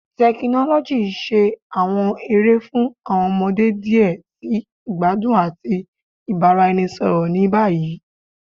Tekinoloji n ṣe awọn ere fun awọn ọmọde diẹ sii igbadun ati ibaraenisọrọ ni bayi